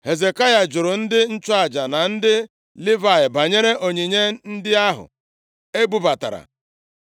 Hezekaya jụrụ ndị nchụaja na ndị Livayị banyere onyinye ndị ahụ e bubatara.